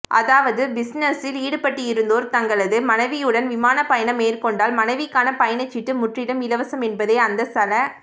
அதாவது பிசினஸில் ஈடுபட்டிருப்போர் தங்களது மனைவியுடன் விமான பயணம் மேற்கொண்டால் மனைவிக்கான பயணசீட்டு முற்றிலும் இலவசம் என்பதே அந்த சல